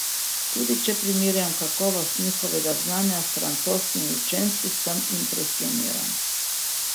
Tudi če primerjam kakovost njihovega znanja s francoskimi učenci, sem impresioniran.